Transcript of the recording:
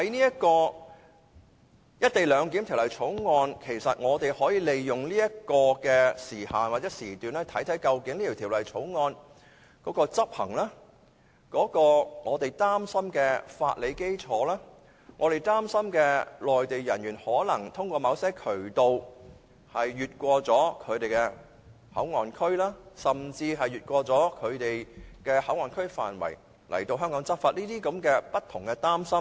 如果應用於《條例草案》，我們可以利用指明的時限或時段來檢視《條例草案》的執行情況、我們擔心的法理基礎，以及我們擔心內地人員通過某渠道越過內地口岸區，甚至越過內地口岸區範圍來港執法等的情況。